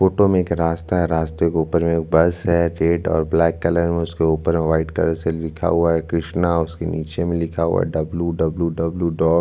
Photo में एक रास्ता है रास्ते के ऊपर में एक बस है रेड और ब्लैक कलर में उसके ऊपर व्हाइट कलर से लिखा हुआ है कृष्णा उसके नीचे में लिखा हुआ है डब्ल्यू. डब्ल्यू.डब्ल्यू. डॉट. --